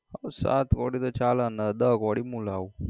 હા સાત કોડી તો ચાલે અને દસ કોડી હું લાવું.